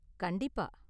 கண்டிப்பா.